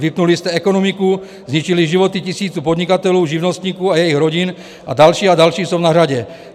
Vypnuli jste ekonomiku, zničili životy tisíců podnikatelů, živnostníků a jejich rodin a další a další jsou na řadě.